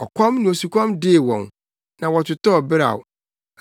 Ɔkɔm ne osukɔm dee wɔn na wɔtotɔɔ beraw.